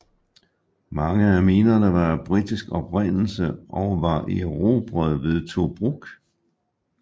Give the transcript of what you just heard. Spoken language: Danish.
Mange af minerne var af britisk oprindelse og var erobret ved Tobruk